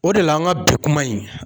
O de la an ka bi kuma in